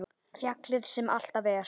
Fjallið sem alltaf er.